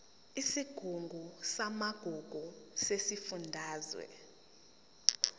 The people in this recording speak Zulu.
isigungu samagugu sesifundazwe